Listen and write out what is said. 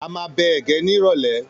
A máa bẹ ẹ̀gẹ́ ní ìrọ̀lẹ́.